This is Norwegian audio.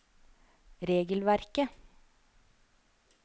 regelverket